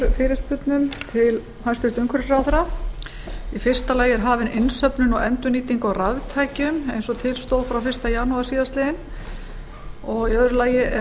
er hafin innsöfnun og endurnýting á raftækjum eins og til stóð frá fyrsta janúar síðastliðnum annars er